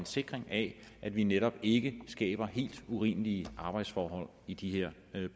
en sikring af at vi netop ikke skaber helt urimelige arbejdsforhold i de her